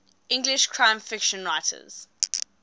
english crime fiction writers